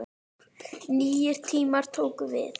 Nýir tímar tóku við.